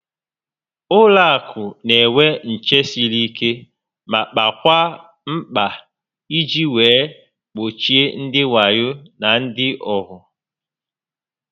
Ụlọ akụ n'enwe nché siri ike ma kpakwaa mkpa iji wee gbochie ndị wayo na ndị ohu